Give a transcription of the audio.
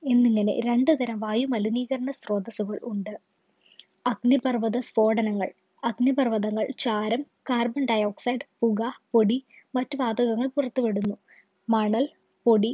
എന്നിങ്ങനെ രണ്ടു തരം വായുമലിനീകരണ സ്രോതസുകള്‍ ഉണ്ട്. അഗ്നിപര്‍വ്വതസ്ഫോടനങ്ങള്‍, അഗ്നിപര്‍വ്വതങ്ങള്‍, ചാരം, carbon dioxide, പുക, പൊടി, മറ്റു വാതകങ്ങള്‍ പുറത്തു വിടുന്നു. മണല്‍, പൊടി